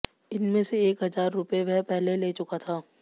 इसमें से एक हजार रुपए वह पहले ले चुका था